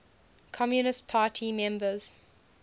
communist party members